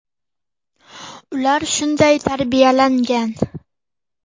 Ular shunday tarbiyalangan.